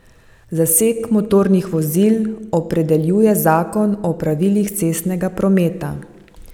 Zaseg motornih vozil opredeljuje zakon o pravilih cestnega prometa.